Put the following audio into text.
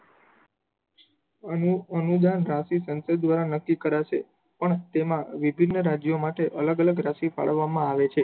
અનુ અનુદાન માંથી સંકલ્પ કરી દ્વારા નક્કી કરાશે પણ તેમાં વિભિન્ન રાજ્યો માટે અલગ અલગ અનેક રસીદ ફાળવવામાં આવે છે